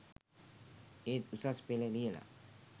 ඒත් උසස් පෙළ ලියලා